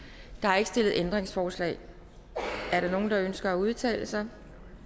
der er ikke stillet ændringsforslag er der nogen der ønsker at udtale sig